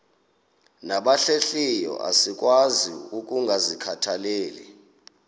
nabahlehliyo asikwazi ukungazikhathaieli